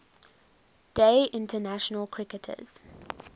day international cricketers